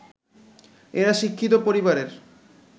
এরা শিক্ষিত পরিবারের